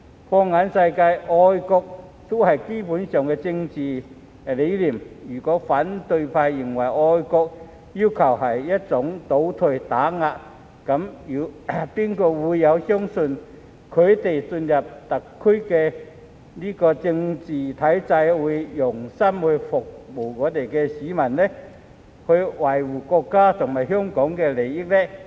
放眼世界，愛國也是基本的政治理念，如果反對派認為愛國要求是一種"倒退"和"打壓"，那還有誰會相信他們進入特區政治體制後會用心服務市民、維護國家和香港利益？